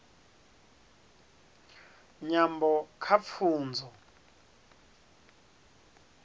nyambo kha pfunzo